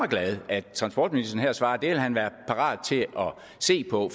glad at transportministeren her svarer at det vil han være parat til at se på